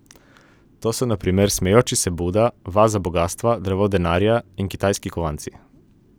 To so na primer smejoči se Buda, vaza bogastva, drevo denarja in kitajski kovanci.